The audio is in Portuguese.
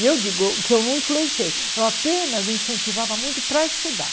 E eu digo que eu não influenciei, eu apenas incentivava muito para estudar.